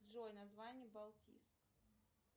джой название балтийск